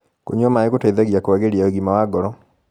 kũnyua maĩ gũteithagia kuagirĩa ũgima wa ngoro